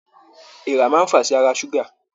Èèrà máa fàá sí àrà ṣuga.